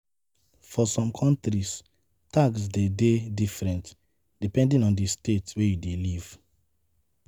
For some countries, tax de dey different depending on di state wey you dey live